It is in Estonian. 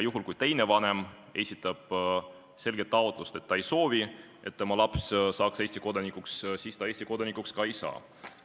Juhul kui teine vanem esitab selge taotluse, et ta ei soovi, et tema laps saaks Eesti kodanikuks, siis ta Eesti kodanikuks ka ei saa.